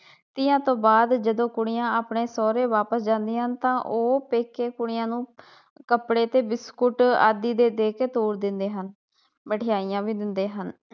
ਤੀਆਂ ਤੋਂ ਬਾਅਦ ਜਦੋ ਕੁੜੀਆਂ ਆਪਣੇ ਸੋਹਰੇ ਵਾਪਿਸ ਜਾਂਦੀਆਂ ਹਨ ਤਾ ਉਹ ਪੇਕੇ ਕੁੜੀਆਂ ਨੂੰ ਕੱਪੜੇ ਤੇ ਬਿਸਕੁਟ ਆਦਿ ਦੇ ਦੇਕੇ ਤੋਰ ਦਿੰਦੇ ਹਨ ਮਠਿਆਈਆਂ ਵੀ ਦਿੰਦੇ ਹਨ।